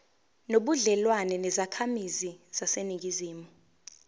nobudlelwane nezakhamizi zaseningizimu